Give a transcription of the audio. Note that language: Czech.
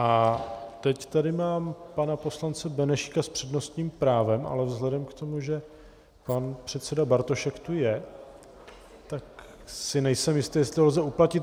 A teď tady mám pana poslance Benešíka s přednostním právem, ale vzhledem k tomu, že pan předseda Bartošek tu je, tak si nejsem jistý, jestli to lze uplatnit.